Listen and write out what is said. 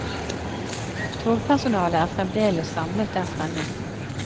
Togpersonalet er fremdeles samlet der fremme.